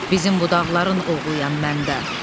Bizim bu dağların oğluyam mən də.